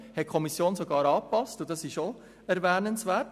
Das hat die Kommission sogar angepasst, und es ist ebenfalls erwähnenswert.